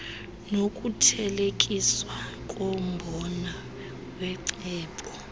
nokuthelekiswa kombono wecebo